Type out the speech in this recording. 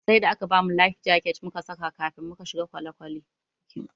Sai da aka bamu "life jacket"mu saka kafin muka shiga kwale kwale.